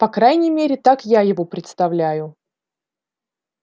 по крайней мере так я его представляю